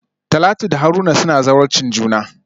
Talatu da Haruna suna zawarcin juna.